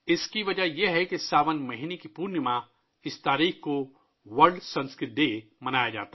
اس کی وجہ یہ ہے کہ ساون کے مہینے کی پورنیما کو سنسکرت کا عالمی دن منایا جاتا ہے